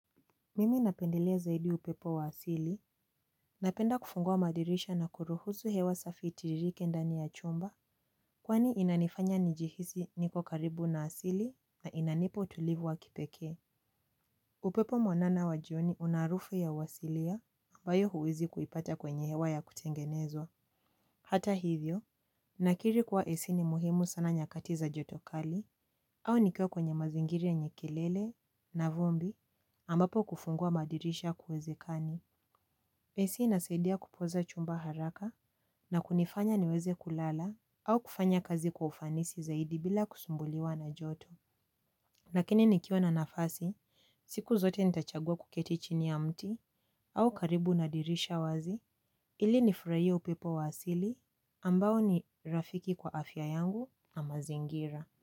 Mimi napendelea zaidi upepo wa asili, napenda kufungua madirisha na kuruhusu hewa safi itiririke ndani ya chumba, kwani inanifanya nijihisi niko karibu na asili na inanipa utulivu wa kipekee. Upepo mwanana wa jioni una harufu ya uasilia ambayo huwezi kuipata kwenye hewa ya kutengenezwa. Hata hivyo, nakiri kuwa ac ni muhimu sana nyakati za joto kali, au nikiwa kwenye mazingira yenye kelele na vumbi ambapo kufungua madirisha kuwezekani. Ac inasaidia kupoza chumba haraka na kunifanya niweze kulala au kufanya kazi kwa ufanisi zaidi bila kusumbuliwa na joto. Lakini nikiwa na nafasi, siku zote nitachagua kuketi chini ya mti au karibu na dirisha wazi ili nifurahie upepo wa asili ambao ni rafiki kwa afya yangu na mazingira.